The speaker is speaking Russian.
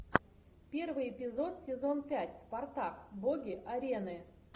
первый эпизод сезон пять спартак боги арены